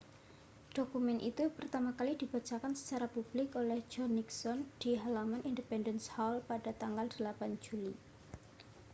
dokumen itu pertama kali dibacakan secara publik oleh john nixon di halaman independence hall pada tanggal 8 juli